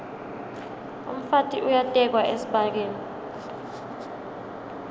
umfati uyatekwa esibayeni